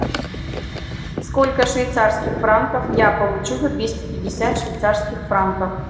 сколько швейцарских франков я получу за двести пятьдесят швейцарских франков